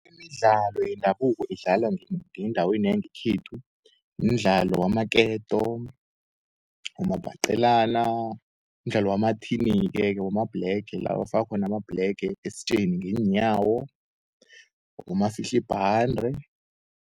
Imidlalo yendabuko edlala ngendaweni yangekhethu mdlalo wamaketo, umabhaqelana, mdlalo wamathini-ke, wamabhlege lakufakwa khona amabhlege esitjeni ngeenyawo, ngumafihlibhande.